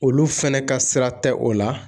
Olu fɛnɛ ka sira tɛ o la